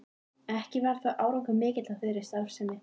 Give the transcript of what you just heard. Ekki varð þó árangur mikill af þeirri starfsemi.